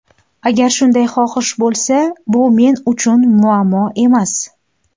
Agar shunday xohish bo‘lsa, bu men uchun muammo emas.